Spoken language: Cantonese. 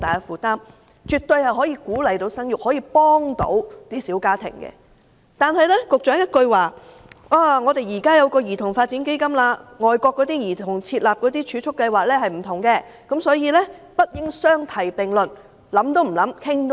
此舉絕對可以鼓勵生育和幫助小家庭，但局長回應說，現在已成立基金，這與外國為兒童設立的儲蓄計劃不盡相同，所以不應相提並論。